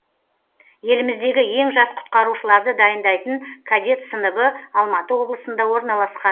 еліміздегі ең жас құтқарушыларды дайындайтын кадет сыныбы алматы облысында орналасқан